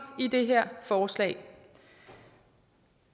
i det her forslag